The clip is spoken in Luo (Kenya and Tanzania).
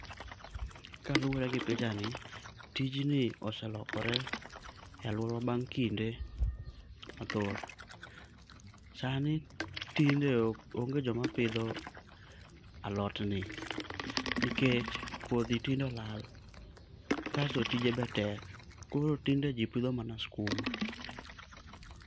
Kaluore gi pichani, tijni oselokore e aluorawa bang' kinde mathoth. Sani tinde onge joma pidho alotni nikech kodhi tinde olal kasto tije be tek koro tinde jii tpidho mana skuma